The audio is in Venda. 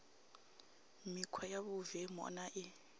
mikhwa ya vhuvemu na i